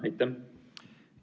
Aitäh!